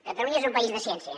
catalunya és un país de ciència